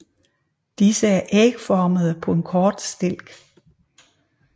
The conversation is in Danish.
Disse er ægformede på en kort stilk